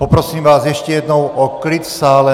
Poprosím vás ještě jednou o klid v sále.